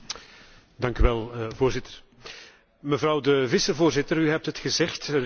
Mevrouw de vicevoorzitter, u heeft het gezegd er is een gebrek aan politiek perspectief.